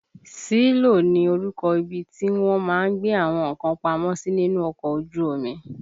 Sílò ni orúkọ ibi tí wọ́n má ń gbé àwọn nǹkan pamọ́ sí nínú ọkọ̀ ojú omi